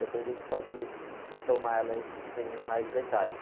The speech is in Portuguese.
Depois a gente pode retomar ela, aí, com mais detalhes.